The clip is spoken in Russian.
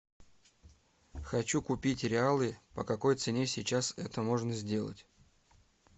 хочу купить реалы по какой цене сейчас это можно сделать